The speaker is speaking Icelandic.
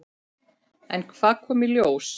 En hvað kom í ljós?